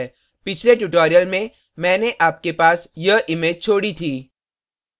पिछले tutorial में मैंने आपके पास यह image छोड़ी थी